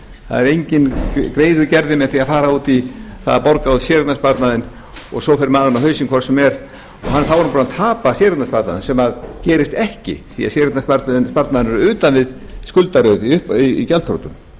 það er engum greiði gerður með því að fara út í það að borga út séreignarsparnaðinn og svo fer maðurinn á hausinn hvort sem er og þá er hann búinn að tapa séreignarsparnaðinum sem gerist ekki því að séreignarsparnaðurinn er utan við gjaldþrotið